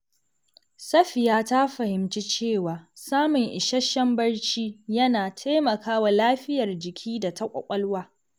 Safiya ta fahimci cewa samun isasshen barci yana taimakawa lafiyar jiki da ta ƙwaƙwalwa.